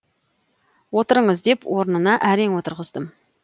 отырыңыз деп орынына әрең отырғыздым